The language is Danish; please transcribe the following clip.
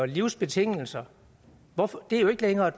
livsbetingelser er jo ikke længere